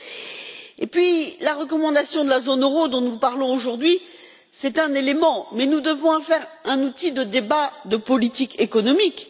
Ensuite, la recommandation de la zone euro, dont nous parlons aujourd'hui, est certes un élément, mais nous devons en faire un outil de débat de politique économique.